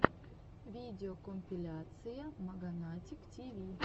видеокомпиляция маганатик тиви